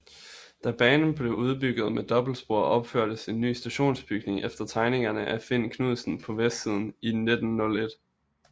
Da banen blev udbygget med dobbeltspor opførtes en ny stationsbygning efter tegninger af Finn Knudsen på vestsiden i 1901